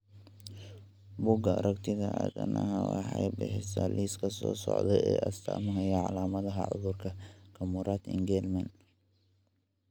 Bugaa aragtida aDdanaha waxay bixisaa liiska soo socda ee astamaha iyo calaamadaha cudurka Camurati Engelmann.